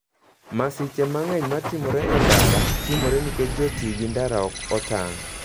Masiche mang'eny matimore e ndara, timore nikech jotii gi ndara okotang'.